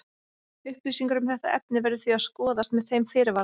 Upplýsingar um þetta efni verður því að skoðast með þeim fyrirvara.